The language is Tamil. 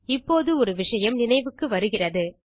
இப்போது ஒரு விஷயம் நினைவுக்கு வருகிறது